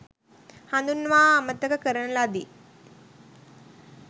හඳුන්වා අමතක කරන ලදි.